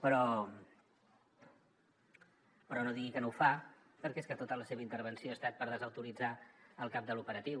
però no digui que no ho fa perquè és que tota la seva intervenció ha estat per desautoritzar el cap de l’operatiu